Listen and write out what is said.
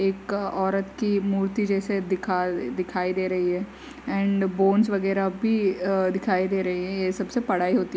एक औरत की मूर्ति जैसा दिखाई दे रही है एंड बोनस वगैरह भी अ दिखाई दे रही है सबसे पढ़ाइ होती है।